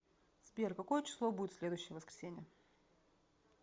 сбер какое число будет в следующее воскресенье